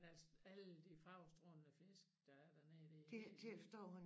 Men altså alle de farvestrålende fisk der er dernede det er helt vildt